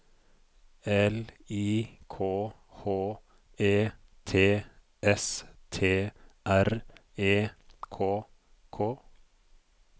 L I K H E T S T R E K K